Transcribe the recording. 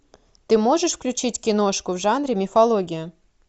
ты можешь включить киношку в жанре мифология